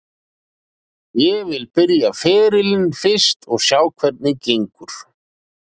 Ég vil byrja ferilinn fyrst og sjá hvernig gengur.